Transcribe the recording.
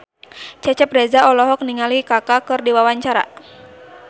Cecep Reza olohok ningali Kaka keur diwawancara